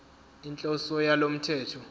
inhloso yalo mthetho